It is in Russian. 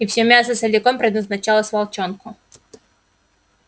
и всё мясо целиком предназначалось волчонку